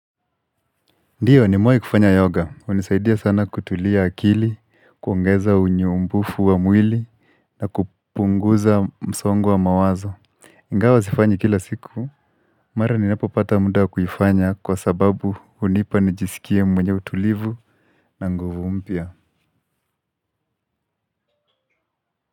Ndiyo nimewai kufanya yoga, unisaidia sana kutulia akili, kuongeza unyumbufu wa mwili, na kupunguza msongo wa mawazo. Ingawa zifanyi kila siku, mara ninapo pata muda kuyifanya kwa sababu unipa nijisikie mwenye utulivu na nguvu mpia.